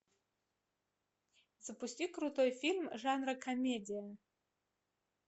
запусти крутой фильм жанра комедия